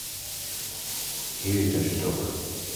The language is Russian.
киви кошелек